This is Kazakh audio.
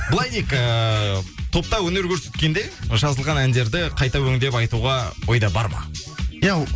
былай дейік ыыы топта өнер көрсеткенде жазылған әндерді қайта өңдеп айтуға ойда бар ма иә